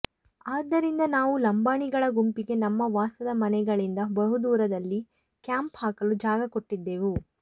ಆದ್ದರಿಂದ ನಾವು ಲಂಬಾಣಿಗಳ ಗುಂಪಿಗೆ ನಮ್ಮ ವಾಸದ ಮನೆಗಳಿಂದ ಬಹುದೂರದಲ್ಲಿ ಕ್ಯಾಂಪ್ ಹಾಕಲು ಜಾಗ ಕೊಟ್ಟಿದ್ದೆವು